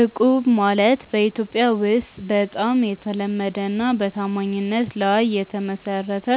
እቁብ ማለት በኢትዮጵያ ውስጥ በጣም የተለመደና በታማኝነት ላይ የተመሰረተ